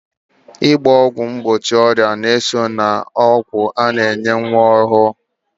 Ịgba ọgwụ mgbochi ọrịa ga-eso n'ọgwụ a na-enye nwa ọhụrụ